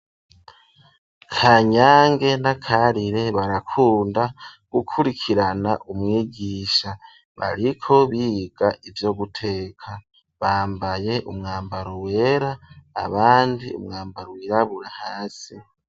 Kanyange na Karire barakunda gukurikirana umwigisha, bariko biga ivyo guteka, bambaye umwambaro wera abandi umwambaro wirabura hasi.